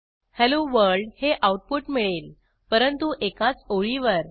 hello world हे output मिळेल परंतु एकाच ओळीवर